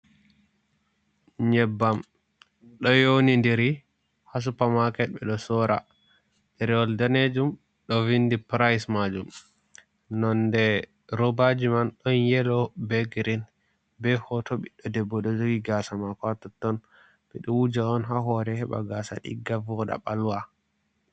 Nyebbam ɗo younindiri ha supa maket ɓe ɗo sora, ɗarewol danejum ɗo vindi pirayis majum, nonde robaji man ɗon yeelo be girin be hooto ɓiɗdo debbo ɗo joogi gaasa mako ha totton, ɓe ɗo wuja on ha hoore heɓa gaasa ɗigga ɓalwa.